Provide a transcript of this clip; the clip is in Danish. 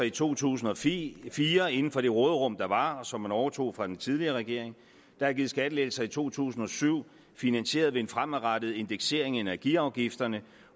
i to tusind og fire fire inden for det råderum der var og som man overtog fra den tidligere regering der er givet skattelettelser i to tusind og syv finansieret ved en fremadrettet indeksering af energiafgifterne